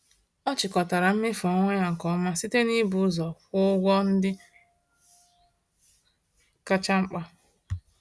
Ọ chịkọtara mmefu ọnwa ya nke ọma site n’ịbụ ụzọ kwụọ ụgwọ ndị kacha mkpa.